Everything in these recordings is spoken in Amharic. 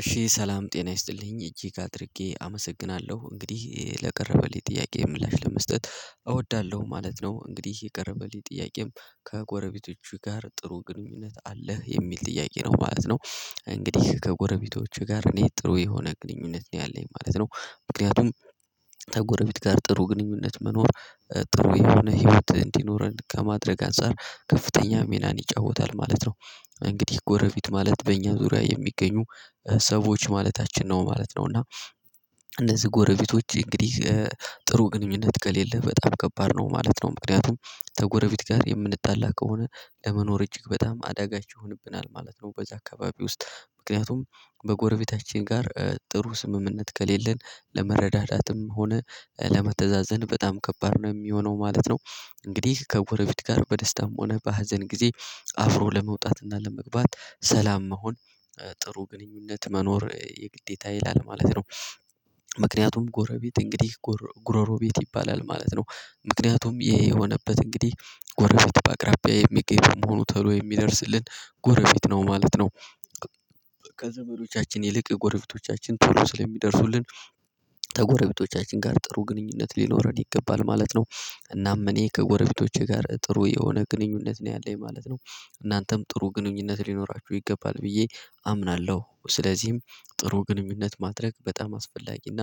እሺ ሰላም ጤና ይስጥልኝ እጅግ አድርጌ አመሰግናለሁ እንግዲህ ለቀረበልኝ ጥያቄ ምላሽ ለመስጠት እወዳለሁ ማለት ነው። እንግዲህ የቀረበልኝ ጥያቄም ከጎረቤቶቹ ጋር ጥሩ ግንኙነት አለህ የሚል ጥያቄ ነው ማለት ነው። እንግዲህ ከጎረቤቶቹ ጋር እኔ ጥሩ የሆነ ግንኙነት ነው ያለኝ ማለት ነው። ምክንያቱም ከጎረቤት ጋር ጥሩ ግንኙነት መኖር ጥሩ የሆነ ህይወት እንዲኖረን ከማድረግ አንፃር ከፍተኛ ሚናን ይጫወታል ማለት ነው። እንግዲህ ጎረቤት ማለት በእኛ ዙሪያ የሚገኙ ሰዎች ማለታችን ነው ማለት ነው። እና እነዚህ ጎረቤቶች እንግዲህ ጥሩ ግንኙነት ከሌለ በጣም ከባድ ነው ማለት ነው። ምክንያቱም ከጎረቤት ጋር የምንጣላ ከሆነ ለመኖር እጅግ በጣም አዳጋች ይሆንብናል ማለት ነው። በዛ አካባቢ ውስጥ ምክንያቱም በጎረቤታችን ጋር ጥሩ ስምምነት ከሌለን ለመረዳዳትም ሆነ ለመተዛዘን በጣም ከባድ ነው የሚሆነው ማለት ነው። እንግዲህ ከጎረቤት ጋር በደስታም ሆነ በሀዘን ጊዜ አፍሮ ለመውጣትና ለመግባት ሰላም መሆን ጥሩ ግንኙነት መኖር የግዴታ ይላል ማለት ነው። ምክንያቱም ጎረቤት እንግዲህ ጉሮሮ ቤት ይባላል ማለት ነው። ምክንያቱም ይሄ የሆነበት እንግዲህ ጎረቤት በአቅራቢያ የሚገኝ በመሆኑ ተሉ የሚደርስልን ጎረቤት ነው ማለት ነው። ከዘመዶቻችን ይልቅ ጎረቤቶቻችን ቶሎ ስለሚደርሱልን ከጎረቤቶቻችን ጋር ጥሩ ግንኙነት ሊኖረን ይገባል ማለት ነው። እናም እኔ ከጎረቤቶቼ ጋር ጥሩ የሆነ ግንኙነት ነው ያለኝ ማለት ነው። እናንተም ጥሩ ግንኙነት ሊኖራችሁ ይገባል ብዬ አምናለሁ። ስለዚህም ጥሩ ግንኙነት ማድረግ በጣም አስፈላጊና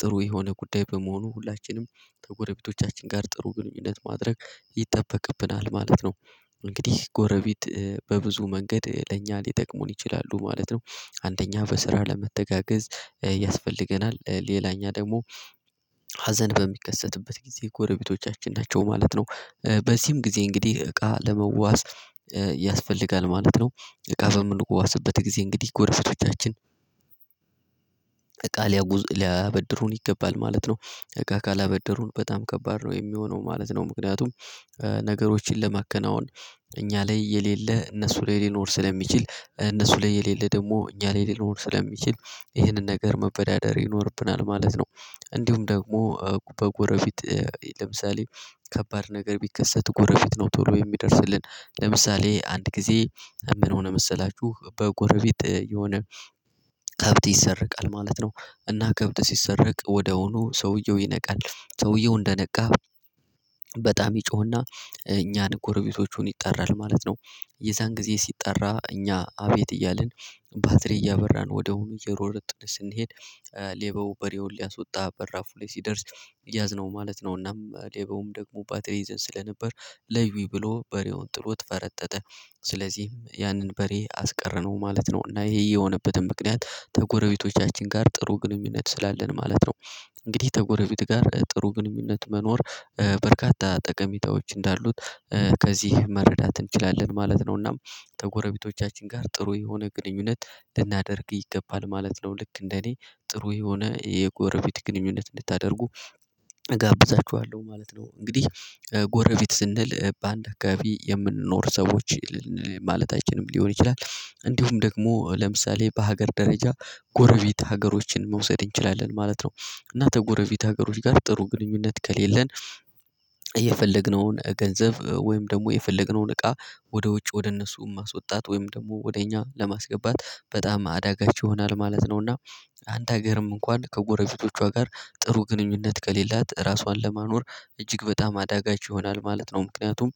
ጥሩ የሆነ ጉዳይ በመሆኑ ሁላችንም ከጎረቤቶቻችን ጋር ጥሩ ግንኙነት ማድረግ ይጠበቅብናል ማለት ነው። እንግዲህ ጎረቤት በብዙ መንገድ ለእኛ ሊጠቅሙን ይችላሉ ማለት ነው። አንደኛ በስራ ለመተጋገዝ ያስፈልገናል። ሌላኛ ደግሞ ሀዘን በሚከሰትበት ጊዜ ጎረቤቶቻችን ናቸው ማለት ነው። በዚህም ጊዜ እንግዲህ እቃ ለመዋዋዋስ ያስፈልጋል ማለት ነው። እቃ በምንዋዝበት ጊዜ እንግዲህ ጎረቤቶቻችን እቃ ሊያበድሩን ይገባል ማለት ነው። እቃ ካላበደሩን በጣም ከባድ ነው የሚሆነው ማለት ነው። ምክንያቱም ነገሮችን ለማከናወን እኛ ላይ የሌለ እነሱ ላይ ሊኖር ስለሚችል እነሱ ላይ የሌለ ደግሞ እኛ ላይ ሊኖር ስለሚችል ይህንን ነገር መበዳደር ይኖርብናል ማለት ነው። እንዲሁም ደግሞ በጎረቤት ለምሳሌ ከባድ ነገር ቢከሰት ጎረቤት ነው ቶሎ የሚደርስልን። ለምሳሌ አንድ ጊዜ ምን ሆነ መሰላችሁ በጎረቤት የሆነ ከብት ይሰረቃል ማለት ነው። እና ከብት ሲሰረቅ ወዲያውኑ ሰውየው ይነቃል ሰውየው እንደነቃ በጣም ይጮህና እኛን ጎረቤቶቹን ይጠራል ማለት ነው። የዛን ጊዜ ሲጠራ እኛ አቤት እያልን ባትሪ እያበራን ወዲያውኑ እየሮረጥን ስንሄድ ሌባው በሬውን ሊያስወጣ በራፉ ላይ ሲደርስ ያዝነው ማለት ነው። እናም ሌባውም ደግሞ ባትሪ ይዘን ስለነበር ለዩኝ ብሎ በሬውን ጥሎት ፈረጠጠ። ስለዚህም ያንን በሬ አስቀረነው ማለት ነው። እና ይሄ የሆነበትን ምክንያት ከጎረቤቶቻችን ጋር ጥሩ ግንኙነት ስላለን ማለት ነው። እንግዲህ ከጎረቤት ጋር ጥሩ ግንኙነት መኖር በርካታ ጠቀሚታዎች እንዳሉት ከዚህ መረዳት እንችላለን ማለት ነው። እናም ከጎረቤቶቻችን ጋር ጥሩ የሆነ ግንኙነት ልናደርግ ይገባል ማለት ነው። ልክ እንደኔ ጥሩ የሆነ የጎረቤት ግንኙነት እንድታደርጉ እጋብዛችኋለሁ ማለት ነው። እንግዲህ ጎረቤት ስንል በአንድ አካባቢየምንኖር ሰዎች ማለታችንም ሊሆን ይችላል እንዲሁም ደግሞ ለምሳሌ በሀገር ደረጃ ጎረቤት ሀገሮችን መውሰድ እንችላለን ማለት ነው። እና ከጎረቤት ሀገሮች ጋር ጥሩ ግንኙነት ከሌለን የፈለግነውን ገንዘብ ወይም ደግሞ የፈለግነውን እቃ ወደ ውጭ ወደ እነሱ ማስወጣት ወይም ደግሞ ወደ እኛ ለማስገባት በጣም አዳጋች ይሆናል ማለት ነው። እና አንድ ሀገርም እንኳን ከጎረፊቶቿ ጋር ጥሩ ግንኙነት ከሌላት ራሷን ለማኖር እጅግ በጣም አዳጋች ይሆናል ማለት ነው። ምክንያቱም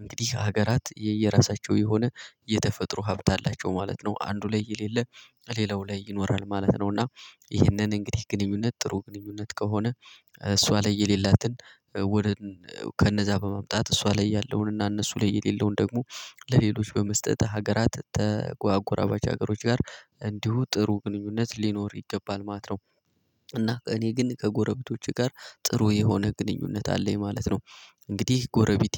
እንግዲህ ሀገራት የየራሳቸው የሆነ የተፈጥሮ ሀብት አላቸው ማለት ነው። አንዱ ላይ የሌለ ሌላው ላይ ይኖራል ማለት ነው። እና ይህንን እንግዲህ ግንኙነት ጥሩ ግንኙነት ከሆነ እሷ ላይ የሌላትን ወደ ከነዛ በመምጣት እሷ ላይ ያለውን እና እነሱ ላይ የሌለውን ደግሞ ለሌሎች በመስጠት ሀገራት ከአጎራባች ሀገሮች ጋር እንዲሁ ጥሩ ግንኙነት ሊኖር ይገባል ማለት ነው። እና እኔ ግን ከጎረቤቶቼ ጋር ጥሩ የሆነ ግንኙነት አለኝ ማለት ነው። እንግዲህ ጎረቤቴ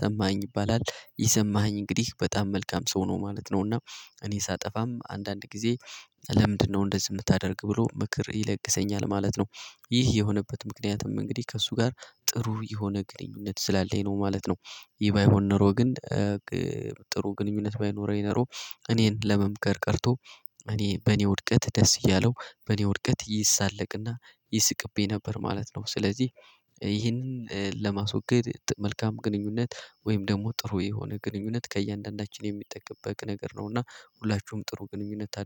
ሰማኸኝ ይባላል ይህ ሰማኸኝ እንግዲህ በጣም መልካም ሰው ነው ማለት ነው። እና እኔ ሳጠፋም አንዳንድ ጊዜ ለምንድነው እንደዚህ የምታደርግ ብሎ ምክር ይለግሰኛል ማለት ነው። ይህ የሆነበት ምክንያቱም እንግዲህ ከእሱ ጋር ጥሩ የሆነ ግንኙነት ስላለኝ ነው ማለት ነው። ይሄ ባይኖረኝ ኖሮ ግን ጥሩ ግንኙነት ባይኖረኝ ኖሮ እኔን ለመምከር ቀርቶ በኔ ውድቀት ደስ እያለው በኔ ውድቀት ይሳለቅና ይስቅብኝ ነበር ማለት ነው። ስለዚህ ይህንን ለማስወገድ መልካም ግንኙነት ወይም ደግሞ ጥሩ የሆነ ግንኙነት ከእያንዳንዳችን የሚጠበቅ ነገር ነውና ሁላችሁም ጥሩ ግንኙነት